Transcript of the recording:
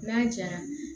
N'a jara